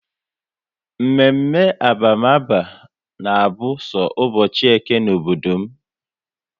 Mme mme abamaba na abụ so ụbọchị Eke n'obodo m